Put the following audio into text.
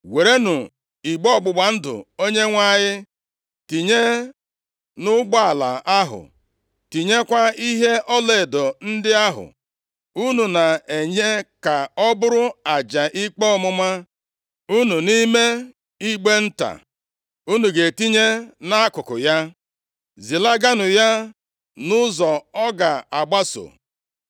Werenụ igbe ọgbụgba ndụ Onyenwe anyị tinye nʼụgbọala ahụ, tinyekwa ihe ọlaedo ndị ahụ unu na-enye ka ọ bụrụ aja ikpe ọmụma unu nʼime igbe nta unu ga-etinye nʼakụkụ ya. Zilaganụ ya nʼụzọ ọ ga-agbaso.